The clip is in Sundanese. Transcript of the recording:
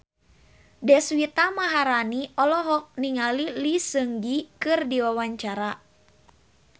Deswita Maharani olohok ningali Lee Seung Gi keur diwawancara